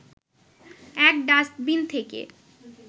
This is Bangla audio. এক ডাস্টবিন থেকে